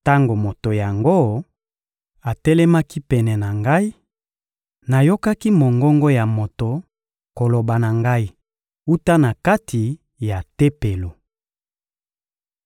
Tango moto yango atelemaki pene na ngai, nayokaki mongongo ya moto koloba na ngai wuta na kati ya Tempelo.